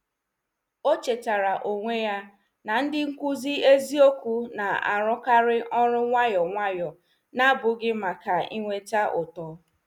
O chetara onwe ya na ndị nkụzi eziokwu na-arukari ọrụ nwayọ nwayọ, na-abụghị maka inweta ụtọ.